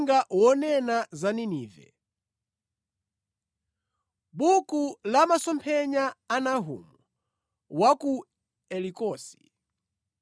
Uthenga wonena za Ninive. Buku la masomphenya a Nahumu wa ku Elikosi.